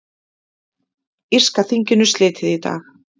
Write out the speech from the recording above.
Írska þinginu slitið í dag